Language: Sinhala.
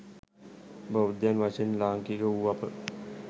බෞද්ධයන් වශයෙන් ලාංකික වූ අප